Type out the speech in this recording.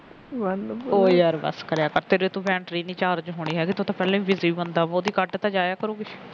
ਉਹ ਯਾਰ ਬੱਸ ਕਰਿਆ ਕਰ ਤੇਰੇ ਤੋ ਬੈਟਰੀ ਨਹੀ ਚਾਰਜ ਹੋਣੀ ਤੂੰ ਤਾਂ ਪਹਿਲਾ ਹੀ busy ਬੰਦਾ ਤਾ ਕੱਟ ਤਾ ਜਾਇਆ ਕਰੋ ਕੁਝ